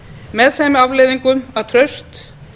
með þeim afleiðingum að traust